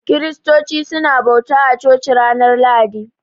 Kiristoci su na bauta a coci ranar lahadi